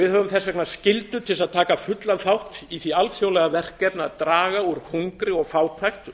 við höfum þess vegna skyldu til að taka fullan þátt í því alþjóðlega verkefni að draga úr hungri fátækt